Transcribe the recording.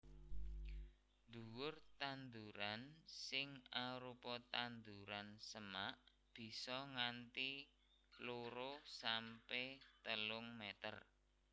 Dhuwur tanduran sing arupa tanduran semak bisa nganti loro sampe telung meter